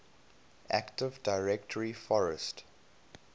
active directory forest